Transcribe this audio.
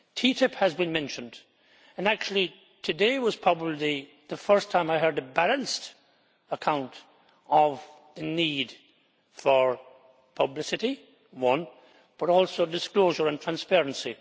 TTIP has been mentioned, and actually today was probably the first time I heard a balanced account of the need for publicity, but also disclosure and transparency.